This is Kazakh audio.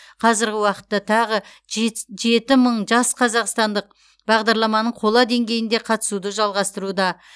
қазірғі уақытта тағы жеті мың жас қазақстандық бағдарламаның қола деңгейінде қатысуды жалғастыруда